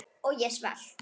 Og ég var svelt.